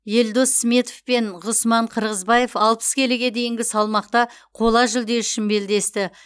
елдос сметов пен ғұсман қырғызбаев алпыс келіге дейінгі салмақта қола жүлде үшін белдесті